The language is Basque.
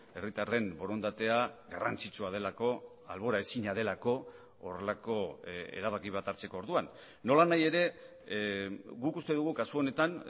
herritarren borondatea garrantzitsua delako alboraezina delako horrelako erabaki bat hartzeko orduan nolanahi ere guk uste dugu kasu honetan